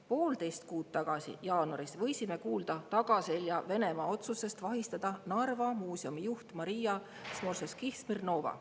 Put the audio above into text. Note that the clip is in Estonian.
Poolteist kuud tagasi, jaanuaris võisime kuulda Venemaa tagaseljaotsusest vahistada Narva Muuseumi juht Maria Smorževskihh-Smirnova.